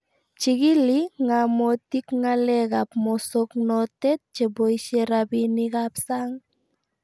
Chigili ng'amotik ng'alek ab mosoknotet cheboisye rabinik ab sang